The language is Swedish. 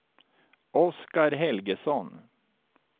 Oskar Helgesson